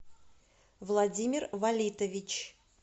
владимир валитович